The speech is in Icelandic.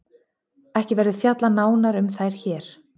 Ekki verður fjallað nánar um þær hér.